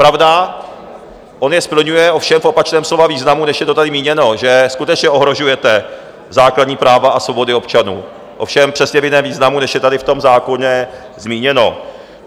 Pravda, on je splňuje, ovšem v opačném slova významu, než je to tady míněno, že skutečně ohrožujete základní práva a svobody občanů, ovšem přesně v jiném významu, než je tady v tom zákoně zmíněno.